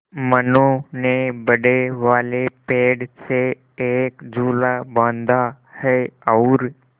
मनु ने बड़े वाले पेड़ से एक झूला बाँधा है और